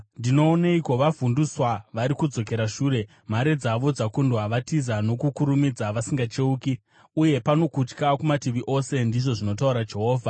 Ndinooneiko? Vavhundutswa, vari kudzokera shure, mhare dzavo dzakundwa. Vari kutiza nokukurumidza vasingacheuki, uye pano kutya kumativi ose,” ndizvo zvinotaura Jehovha.